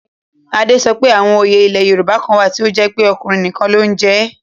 Ade sọ pé àwọn òye ilẹ̀ Yorùbá kan wà tí ó jẹ́ pé ọkùnrin nìkan ló ń jẹ ẹ́